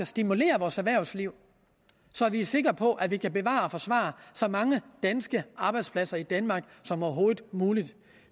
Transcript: stimulere vores erhvervsliv så vi er sikre på at vi kan bevare og forsvare så mange danske arbejdspladser i danmark som overhovedet muligt